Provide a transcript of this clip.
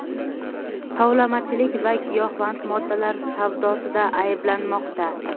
tovlamachilik va giyohvand moddalar savdosida ayblanmoqda.